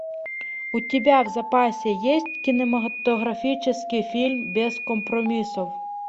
у тебя в запасе есть кинематографический фильм без компромиссов